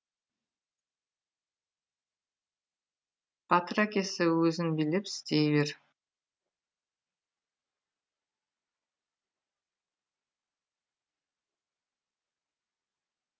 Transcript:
батыр әкесі өзін билеп істей бер